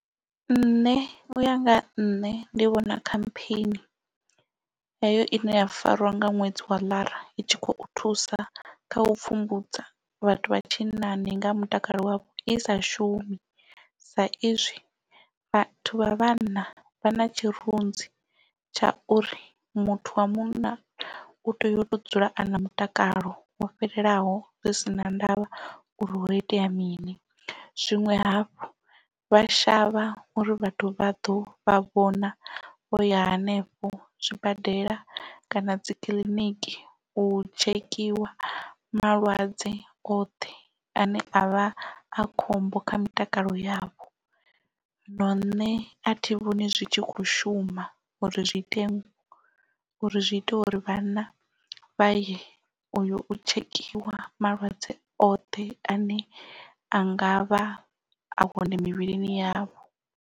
Nṋe uya nga nṋe ndi vhona khampheni heyo ine ya farwa nga ṅwedzi wa Ḽara i tshi khou thusa kha u pfhumbudza vhathu vha tshinnani nga mutakalo wavho i sa shumi sa izwi vhathu vha vhanna vha na tshirunzi tsha uri muthu wa munna u tea yo to dzula a na mutakalo wo fhelelaho zwi si na ndavha uri ho itea mini zwinwe hafhu vha shavha uri vhathu vha ḓo vha vhona vho ya henefho zwibadela kana dzikiḽiniki u tshekhiwa malwadze oṱhe ane a vha a khombo kha mitakalo yavho zwino nṋe a thi vhoni zwi tshi kho shuma uri zwi ite uri zwi ita uri vhana vha ye u tshekhiwa malwadze oṱhe ane a nga vha a hone mivhilini yavho.